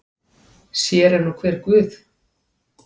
Sér er nú hver guð.